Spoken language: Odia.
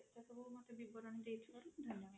ଏତେ ସବୁ ବିବରଣୀ ଦେଇଥିବାରୁ ଧନ୍ୟବାଦ